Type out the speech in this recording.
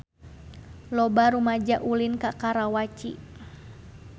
Loba rumaja ulin ka Karawaci